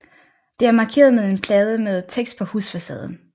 Det er markeret med en plade med tekst på husfacaden